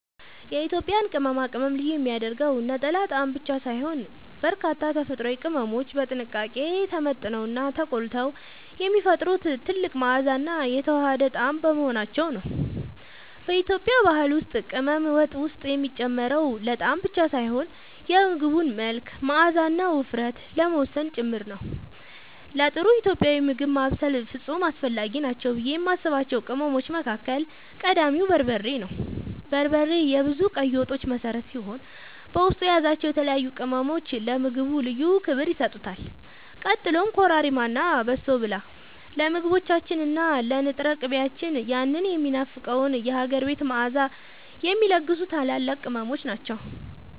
የኢትዮጵያን ቅመማ ቅመም ልዩ የሚያደርገው ነጠላ ጣዕም ብቻ ሳይሆን፣ በርካታ ተፈጥሯዊ ቅመሞች በጥንቃቄ ተመጥነውና ተቆልተው የሚፈጥሩት ጥልቅ መዓዛና የተዋሃደ ጣዕም በመሆናቸው ነው። በኢትዮጵያ ባህል ውስጥ ቅመም ወጥ ውስጥ የሚጨመረው ለጣዕም ብቻ ሳይሆን የምግቡን መልክ፣ መዓዛና ውፍረት ለመወሰን ጭምር ነው። ለጥሩ ኢትዮጵያዊ ምግብ ማብሰል ፍጹም አስፈላጊ ናቸው ብዬ የማስባቸው ቅመሞች መካከል ቀዳሚው በርበሬ ነው። በርበሬ የብዙ ቀይ ወጦች መሠረት ሲሆን፣ በውስጡ የያዛቸው የተለያዩ ቅመሞች ለምግቡ ልዩ ክብር ይሰጡታል። ቀጥሎም ኮረሪማ እና በሶብላ ለምግቦቻችን እና ለንጥር ቅቤያችን ያንን የሚናፈቀውን የሀገር ቤት መዓዛ የሚለግሱ ታላላቅ ቅመሞች ናቸው።